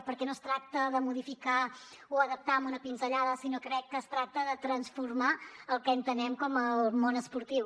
perquè no es tracta de modificar o adaptar amb una pinzellada sinó que crec que es tracta de transformar el que entenem com el món esportiu